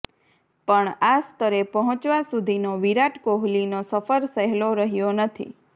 પણ આ સ્તરે પહોંચવા સુધીનો વિરાટ કોહલીનો સફર સહેલો રહ્યો નથી